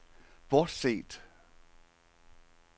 bortset